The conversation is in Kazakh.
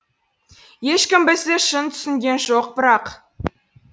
ешкім бізді шын түсінген жоқ бірақ